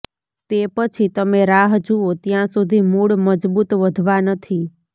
તે પછી તમે રાહ જુઓ ત્યાં સુધી મૂળ મજબૂત વધવા નથી